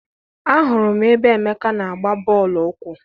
Ahụrụ m ebe Emeka n'agba bọọlụ ụkwụ.